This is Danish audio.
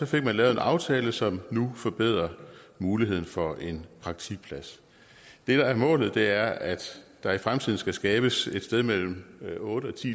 fik man lavet en aftale som nu forbedrer muligheden for en praktikplads det der er målet er at der i fremtiden skal skabes et sted mellem otte